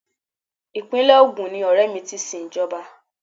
Ìpínlè Ogun ni ọrẹ mi ti sin Ìjọba.